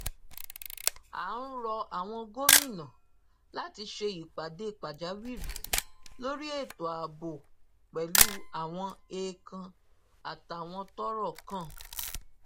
a ń rọ àwọn gómìnà láti ṣe ìpàdé pàjáwìrì lórí ètò ààbò pẹlú àwọn ẹẹkan àtàwọn tọrọ kàn